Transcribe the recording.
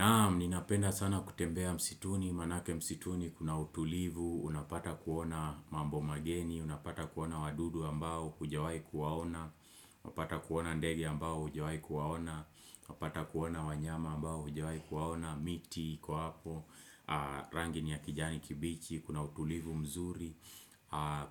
Naam, ninapenda sana kutembea msituni, manake msituni kuna utulivu, unapata kuona mambo mageni, unapata kuona wadudu ambao hujawai kuwaona, unapata kuona ndege ambao hujawai kuwaona, unapata kuona wanyama ambao hujawai kuwaona, miti iko hapo, rangi ni ya kijani kibichi, kuna utulivu mzuri,